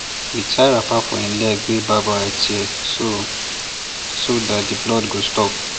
we tie wrapper for hin leg wey barb wire tear so so that the blood go stop